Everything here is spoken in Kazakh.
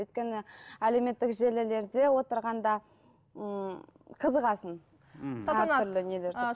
өйткені әлеуметтік желілерде отырғанда м қызығасың